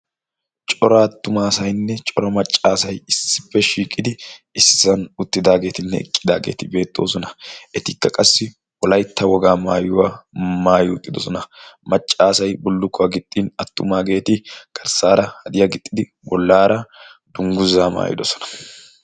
cora attumaasainne cora maccaasai issippe shiiqidi issisan uttidaageetinne eqqidaageeti beexxoosona. etikka qassi wolaytta wogaa maayuwaa maayi uxxidosona maccaasay bullukkuwaa gixxin attumaageeti garssaara hadiya gixxidi bollaara dungguzaa maayidosona